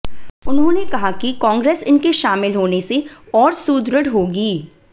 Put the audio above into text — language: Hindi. उन्होंने कहा कि कांगे्रस इनके शामिल होने से और सुदृढ़ होगी